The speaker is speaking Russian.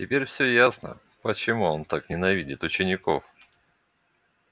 теперь всё ясно почему он так ненавидит учеников